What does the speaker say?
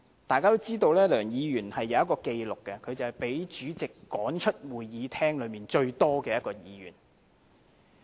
大家也知道，梁議員有一項紀錄，便是被主席趕出會議廳最多次的一位議員。